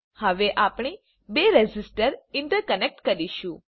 હવે આપણે બે રેઝિસ્ટરને ઇન્ટરકનેક્ટ કરીશું